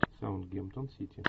саутгемптон сити